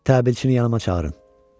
Təbilçini yanıma çağırın.